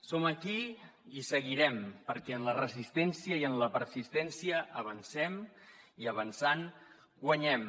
som aquí i seguirem perquè en la resistència i en la persistència avancem i avançant guanyem